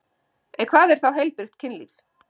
En hvað er þá heilbrigt kynlíf?